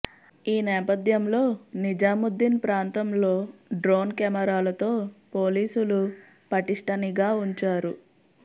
ఈ నేపథ్యంలో నిజాముద్దీన్ ప్రాంతంలో డ్రోన్ కెమెరాలతో పోలీసులు పటిష్ట నిఘా ఉంచారు